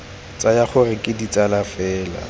tsaya gore ke ditsala fela